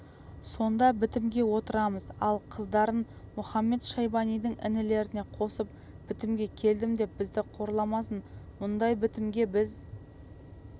сонда бітімге отырамыз ал қыздарын мұхамед-шайбанидың інілеріне қосып бітімге келдім деп бізді қорламасын бұндай бітім бізге